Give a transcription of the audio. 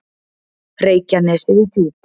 Reykjanesi við Djúp.